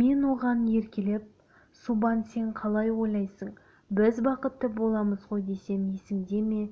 мен оған еркелеп субан сен қалай ойлайсың біз бақытты боламыз ғой десем есіңде ме